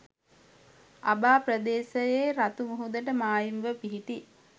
අබා ප්‍රදේශයේ රතු මුහුදට මායිම්ව පිහිටි